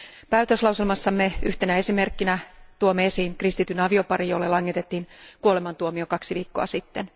Päätöslauselmassamme yhtenä esimerkkinä tuomme esiin kristityn avioparin, jolle langetettiin kuolemantuomio kaksi viikkoa sitten.